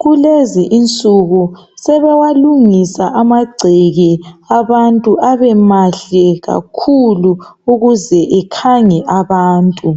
Kulezi insiku sebewalungisa amangceke abantu abemahle kakhulu ukuze ikhange abantu